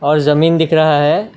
और जमीन दिख रहा है।